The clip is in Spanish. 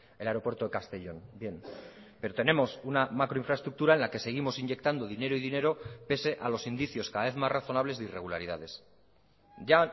el aeropuerto de castellón bien pero tenemos una macroinfraestructura en la que seguimos inyectando dinero y dinero pese a los indicios cada vez más razonables de irregularidades ya